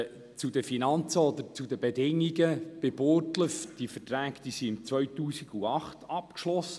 Zu den Finanzen oder den Bedingungen: Die Verträge beim Projekt in Burgdorf wurden im Jahr 2008 abgeschlossen.